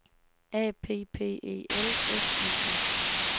A P P E L S I N